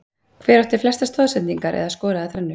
Hver átti flestar stoðsendingar eða skoraði þrennu?